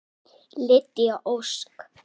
Lydia Ósk.